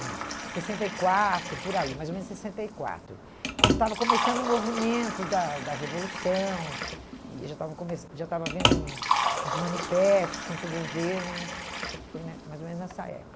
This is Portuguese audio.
não, sessenta e quatro, por aí, mais ou menos sessenta e quatro, quando estava começando o movimento da da Revolução e já estava começan já estava havendo um uns manifestos contra o governo, foi né mais ou menos nessa